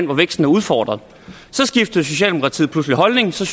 hvor væksten er udfordret så skiftede socialdemokratiet pludselig holdning så